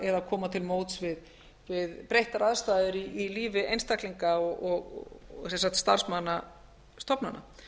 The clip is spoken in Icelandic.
eða koma til móts við breyttar aðstæður í lífi einstaklinga og sem sagt starfsmanna stofnana